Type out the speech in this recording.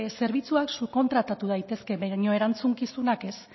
zerbitzuak subkontratatu daitezke baina erantzukizunak ez